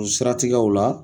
O siratigɛw la